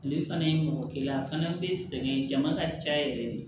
Ale fana ye mɔgɔ kelen a fana bɛ sɛgɛn jama ka ca yɛrɛ de